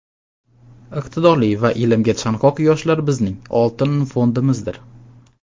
iqtidorli va ilmga chanqoq yoshlar bizning "oltin fondimizdir".